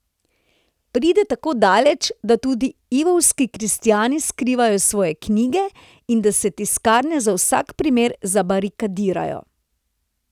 Pride tako daleč, da tudi lvovski kristjani skrivajo svoje knjige in da se tiskarne za vsak primer zabarikadirajo.